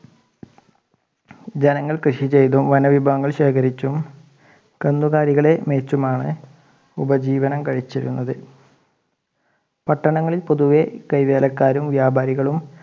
ജനങ്ങൾ കൃഷി ചെയ്തുo വനവിഭവങ്ങൾ ശേഖരിച്ചും കന്നുകാലികളെ മേച്ചുമാണ് ഉപജീവനം കഴിച്ചിരുന്നത് പട്ടങ്ങളിൽ പൊതുവെ കൈവേലക്കാരും വ്യാപാരികളും